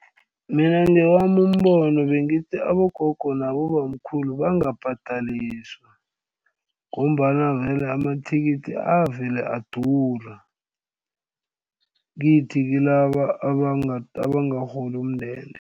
Mina ngewami umbono bengithi abogogo nabobamkhulu bangabhadaliswa ngombana vele amathikithi avele adura kithi kilaba abangarholi umndende.